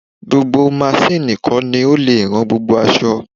Gbogbo maṣíínni kọ́ ni ó lè rán gbogbo aṣọ.